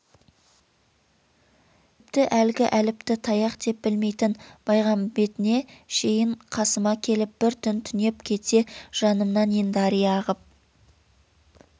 тіпті әлгі әліпті таяқ деп білмейтін баймағамбетіне шейін қасыма келіп бір түн түнеп кетсе жанымнан ен дария ағып